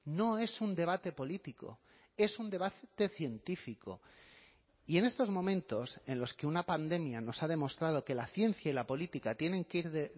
no es un debate político es un debate científico y en estos momentos en los que una pandemia nos ha demostrado que la ciencia y la política tienen que ir de